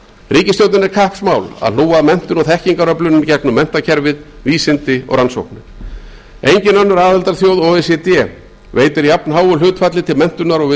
ríkisstjórninni er kappsmál að hlúa að menntun og þekkingaröflun í gegnum menntakerfið vísindi og rannsóknir engin önnur aðildarþjóð o e c d ver jafnháu hlutfalli til menntunar og við